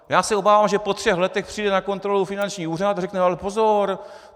Já se obávám, že po třech letech přijde na kontrolu finanční úřad a řekne: Ale pozor!